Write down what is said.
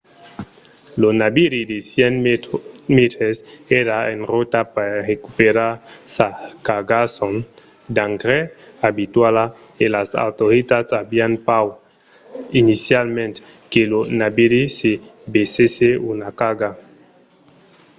lo naviri de 100 mètres èra en rota per recuperar sa cargason d'engrais abituala e las autoritats avián paur inicialament que lo naviri ne versèsse una carga